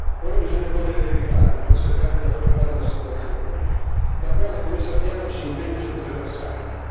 Ora bisogna correre ai ripari per cercare di affrontare la situazione, la quale come sappiamo ci impegna su tre versanti.